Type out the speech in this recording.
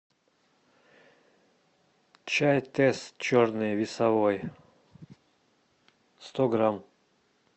чай тесс черный весовой сто грамм